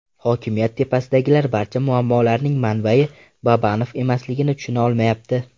Hokimiyat tepasidagilar barcha muammolarning manbai Babanov emasligini tushuna olmayapti.